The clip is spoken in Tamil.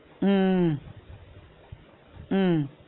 உம் உம் உம்